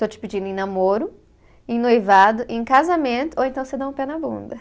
Estou te pedindo em namoro, em noivado, em casamento, ou então você dá um pé na bunda.